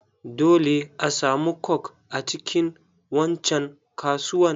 Dole asamu coke a cikin wancan kasuwan.